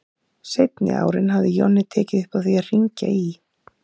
Seinni árin hafði Jonni tekið upp á því að hringja í